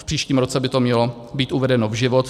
V příštím roce by to mělo být uvedeno v život.